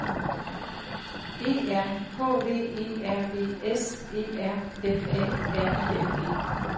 E R H V E R V S E R F A R I N G